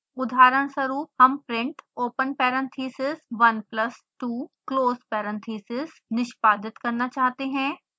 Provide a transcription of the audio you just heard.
उदाहरणस्वरूप हम print open parenthesis 1 plus 2 close parenthesis निष्पादित करना चाहते हैं